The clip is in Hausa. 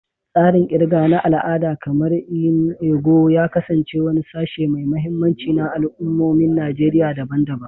Tsarin ƙirga na al'ada, kamar "nnu ego," ya kasance wani sashe mai mahimmanci na al'ummomin Najeriya daban-daban.